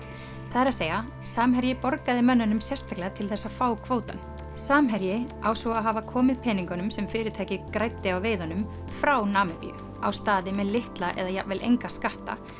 það er að segja Samherji borgaði mönnunum sérstaklega til þess að fá kvótann samherji á svo að hafa komið peningum sem fyrirtækið græddi á veiðunum frá Namibíu á staði með litla eða jafnvel enga skatta